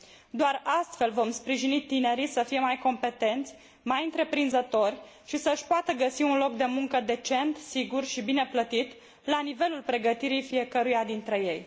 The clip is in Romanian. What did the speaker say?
Doar astfel vom sprijini tinerii să fie mai competenți, mai întreprinzători și să își poată găsi un loc de muncă decent, sigur și bine plătit, la nivelul pregătirii fiecăruia dintre ei.